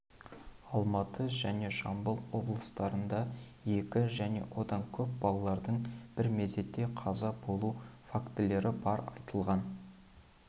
алматы және жамбыл облыстарында екі және одан көп балалардың бір мезетте қаза болуы фактілері бар айтылған